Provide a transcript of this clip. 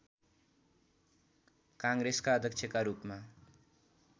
काङ्ग्रेसका अध्यक्षका रूपमा